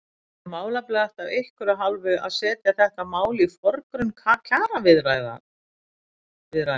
Er málefnalegt af ykkar hálfu að setja þetta mál í forgrunn kjaraviðræðna?